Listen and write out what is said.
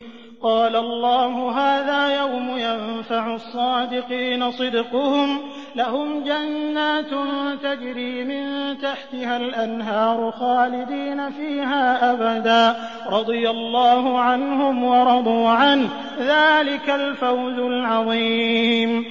قَالَ اللَّهُ هَٰذَا يَوْمُ يَنفَعُ الصَّادِقِينَ صِدْقُهُمْ ۚ لَهُمْ جَنَّاتٌ تَجْرِي مِن تَحْتِهَا الْأَنْهَارُ خَالِدِينَ فِيهَا أَبَدًا ۚ رَّضِيَ اللَّهُ عَنْهُمْ وَرَضُوا عَنْهُ ۚ ذَٰلِكَ الْفَوْزُ الْعَظِيمُ